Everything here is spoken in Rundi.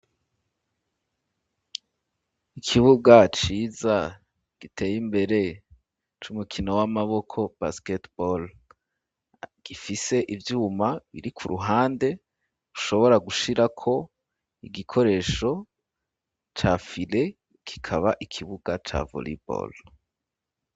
Ikibuga ciza giteye imbere c'umukino w'amaboko basketball gifise ivyuma biri ku ruhande ushobora gushirako igikoresho ca fire kikaba ikibuga ca voleball.